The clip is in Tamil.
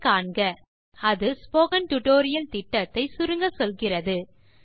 httpspoken tutorialorgWhat is a Spoken Tutorial அது ஸ்போக்கன் டியூட்டோரியல் திட்டத்தை சுருங்கச்சொல்கிறது